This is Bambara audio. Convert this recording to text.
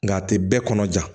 Nka a tɛ bɛɛ kɔnɔ ja